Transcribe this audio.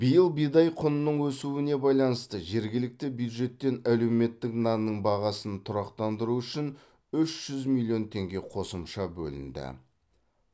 биыл бидай құнының өсуіне байланысты жергілікті бюджеттен әлеуметтік нанның бағасын тұрақтандыру үшін үш жүз миллион теңге қосымша бөлінді